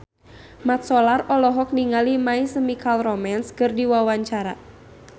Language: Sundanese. Mat Solar olohok ningali My Chemical Romance keur diwawancara